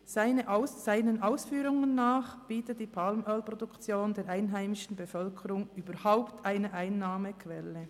Gemäss seinen Ausführungen bietet die Palmölproduktion der einheimischen Bevölkerung überhaupt eine Einnahmequelle.